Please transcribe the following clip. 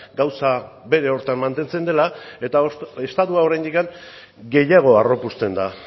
gauza bere horretan mantentzen dela eta estatua oraindik gehiago harropuzten da